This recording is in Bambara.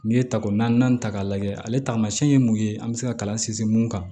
N'i ye tako naani ta k'a lajɛ ale taamasiyɛn ye mun ye an bɛ se ka kalan sinsin mun kan